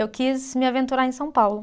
Eu quis me aventurar em São Paulo.